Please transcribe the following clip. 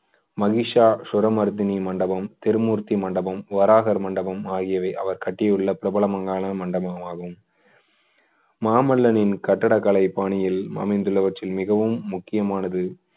மஹிஷாசுரமர்த்தினி மண்டபம், திருமூர்த்தி மண்டபம், வராகர் மண்டபம் ஆகியவை அவர் கட்டியுள்ள பிரபலமான மண்டபம் ஆகும் மாமல்லனின் கட்டிடக்கலைப் பாணியில் அமைந்துள்ளவற்றில் மிகவும் முக்கியமானது